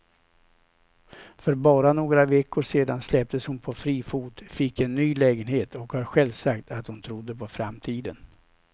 För bara några veckor sedan släpptes hon på fri fot, fick en ny lägenhet och har själv sagt att hon trodde på framtiden.